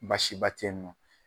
Basi ba te yen nɔ.